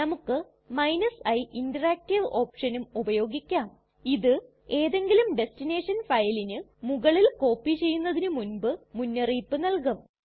നമുക്ക് i interactive ഓപ്ഷനും ഉപയോഗിക്കാം ഇത് ഏതെങ്കിലും ടെസ്ടിനെഷൻ ഫയലിന് മുകളിൽ കോപ്പി ചെയ്യുന്നതിന് മുൻപ് മുന്നറിയിപ്പ് നല്കും